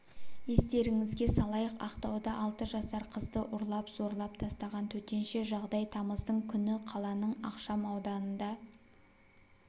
естеріңізге салайық ақтауда алты жасар қызды ұрлап зорлап тастаған төтенше жағдай тамыздың күні қаланың ықшам ауданында